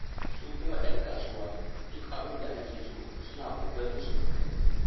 Su kuma 'yan kasuwa duk abin da ake so suna ƙoƙarin su kawo.